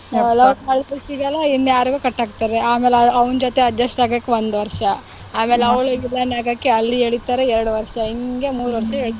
ಮಾಡಿದ್ ಹುಡುಗಿ ಗೆ ಇನ್ಯಾರಿಗೋ ಕಟ್ ಹಾಕ್ತಾರೆ ಆಮೇಲ್ ಅವ್ನ್ ಜೊತೆ adjust ಆಗಕೆ ಒಂದ್ ವರ್ಷ ಆಮೇಲ್ ಅವ್ಳ villain ಆಗಕೆ ಅಲ್ಲಿ ಎಳೀತಾರೆ ಎರಡ್ ವರ್ಷ ಹಿಂಗೇ ಮೂರ್ ವರ್ಷ ಎಳೀತಾರೆ.